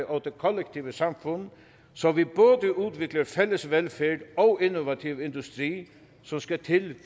og det kollektive samfund så vi både udvikler fælles velfærd og innovativ industri som skal til